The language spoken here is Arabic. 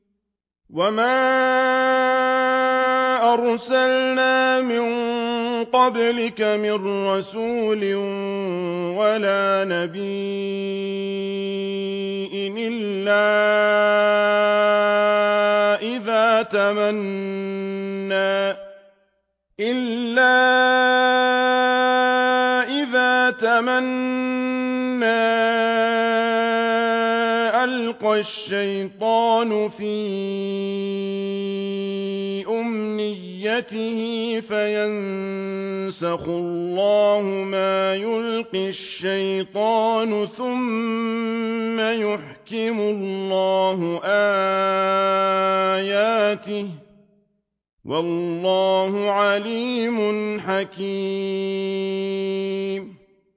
وَمَا أَرْسَلْنَا مِن قَبْلِكَ مِن رَّسُولٍ وَلَا نَبِيٍّ إِلَّا إِذَا تَمَنَّىٰ أَلْقَى الشَّيْطَانُ فِي أُمْنِيَّتِهِ فَيَنسَخُ اللَّهُ مَا يُلْقِي الشَّيْطَانُ ثُمَّ يُحْكِمُ اللَّهُ آيَاتِهِ ۗ وَاللَّهُ عَلِيمٌ حَكِيمٌ